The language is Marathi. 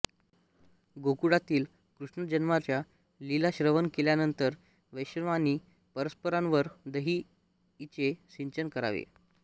गोकुळातील कृष्णजन्माच्या लीला श्रवण केल्यानंतर वैष्णवांनी परस्परांवर दही इ चे सिंचन करावे